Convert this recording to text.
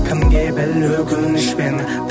кімге біл өкінішпен